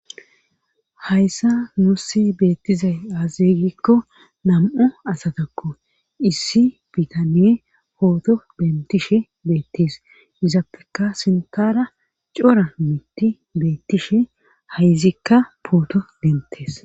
hayssa nuussi beettizay azee gikko nam7u asatakko issi bitanee pooto dentishe beettees izappeka sintara cora mitti beettishe ha izikka pooto dentees.